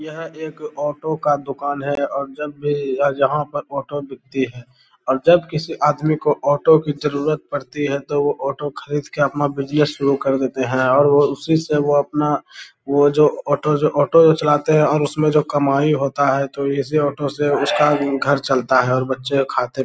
यहाँ एक ऑटो का दुकान है और जब ही य-यहाँ पर ऑटो बिकती है और जब किसी आदमी को ऑटो की जरूरत पड़ती है तो वो ऑटो खरीद के अपना कर देते है और वो उसी से वो अपना वो जो ऑटो जो अपना ऑटो चलते है और अपना कमाई होता है तो इसी ऑटो से उसका घर चलता है और बच्चे खाते --